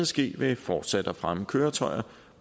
ske ved fortsat at fremme køretøjer